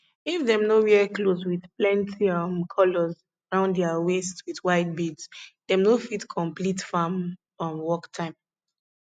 if dem no wear clothes with plenty um colors round their waist with white beads dem no fit complete farm um work time